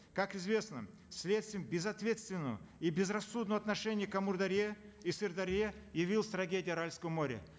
как известно следствием безответственного и безрассудного отношения к амударье и сырдарье явилась трагедия аральского моря